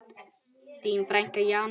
Þín frænka Jana.